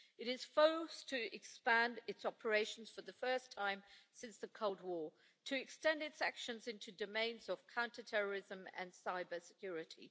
It is forced to expand its operations for the first time since the Cold War, to extend its actions into domains of counter terrorism and cybersecurity.